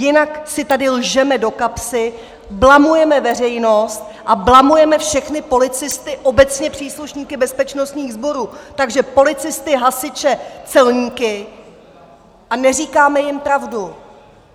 Jinak si tady lžeme do kapsy, blamujeme veřejnost a blamujeme všechny policisty, obecně příslušníky bezpečnostních sborů, takže policisty, hasiče, celníky, a neříkáme jim pravdu.